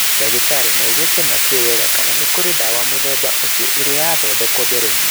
Ndagĩtarĩ Yu augĩte matiũĩ wega kana nĩ kũrĩ ndawa mũthemba ũcio ĩrĩ yathondekwo mbere-inĩ.